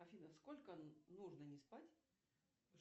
афина сколько нужно не спать